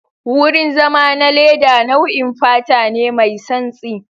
wurin zama na leda nau'in fata ne mai samtsi.